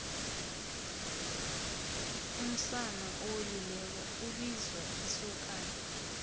umsana owelileko ibizwa isokana